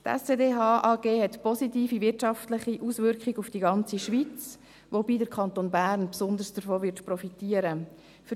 Die SCDH AG hat positive wirtschaftliche Auswirkungen auf die ganze Schweiz, wobei der Kanton Bern davon besonders profitieren wird.